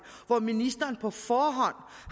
hvor ministeren på forhånd